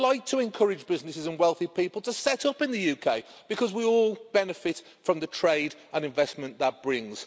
I would like to encourage businesses and wealthy people to set up in the UK because we all benefit from the trade and investment that brings.